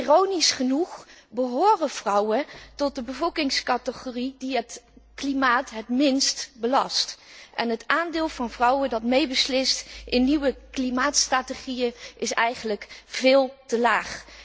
Ironisch genoeg behoren vrouwen tot de bevolkingscategorie die het klimaat het minst belast en het aandeel vrouwen dat meebeslist in nieuwe klimaatstrategieën is eigenlijk veel te laag.